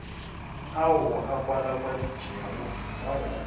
ao a kwalakwaditšwego ka go